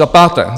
za páté.